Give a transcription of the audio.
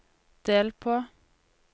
del på